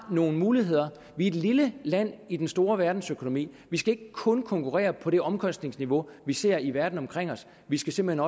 nogle muligheder vi er et lille land i den store verdensøkonomi vi skal ikke kun konkurrere på det omkostningsniveau vi ser i verden omkring os vi skal simpelt